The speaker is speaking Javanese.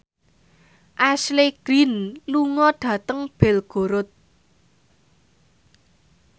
Ashley Greene lunga dhateng Belgorod